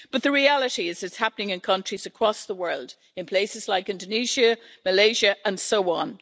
But the reality is, it's happening in countries across the world, in places like Indonesia, Malaysia, and so on.